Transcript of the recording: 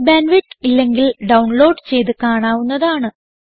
നല്ല bandwidth ഇല്ലെങ്കിൽ download ചെയ്ത് കാണാവുന്നതാണ്